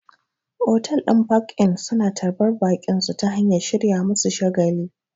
Otal ɗin park-in suna tarbar baƙinsu ta hanyar shirya musu shagali